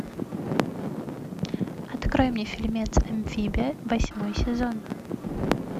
открой мне фильмец амфибия восьмой сезон